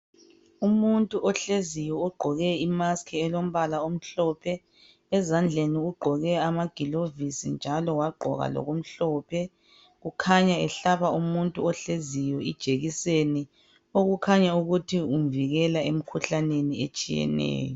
Umuthi ohleziyo oqgoke imask elombala omhlophe .Ezandleni ugqoke amagilovisi njalo wagqoka loku mhlophe .Ukhanya ehlaba umuntu ohleziyo ijekiseni .Okukhanya ukuthi umvikela emkhuhlaneni etshiyeneyo.